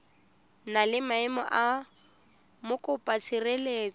na le maemo a mokopatshireletso